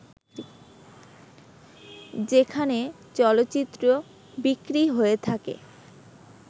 যেখানে চলচ্চিত্র বিক্রি হয়ে থাকে